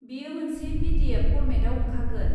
बेयो मोनसे P D F फर्मेटआव ओंखारगोन।